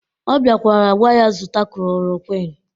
Ọ biakwara gwa ya zụta klorokwin